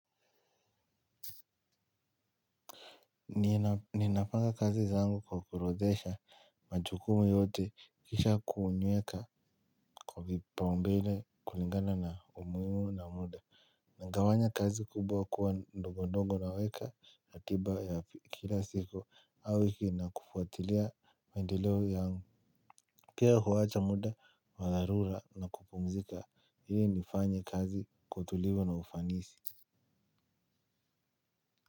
Niinafanya kazi zangu kwa kurodhesha majukumu yote kisha kuunyeka kwa vipaumbele kulingana na umuhimu na muda. Nagawanya kazi kubwa kuwa ndogo ndogo naweka akiba ya kila siku au wiki na kufuatili maendeleo yangu. Pia huwacha muda wa dharura na kupumzika ili nifanye kazi kwa utulivo na ufanisi.